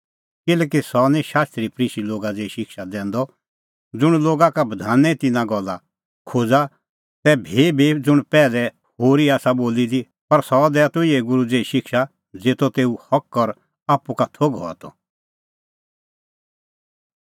किल्हैकि सह निं शास्त्री फरीसी लोगा ज़ेही शिक्षा दैंदअ ज़ुंण लोगा का बधाने तिन्नां गल्ला खोज़ा तै भीभी ज़ुंण पैहलै होरी आसा बोली दी पर सह दैआ त इहै गूरू ज़ेही शिक्षा ज़ेतो तेऊ हक और आप्पू का थोघ हआ त